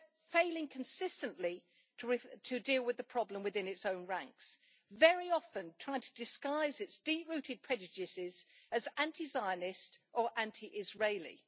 failing consistently to deal with the problem within its own ranks, very often trying to disguise its deep rooted prejudices as anti Zionist or anti Israeli.